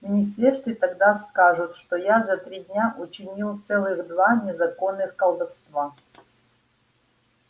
в министерстве тогда скажут что я за три дня учинил целых два незаконных колдовства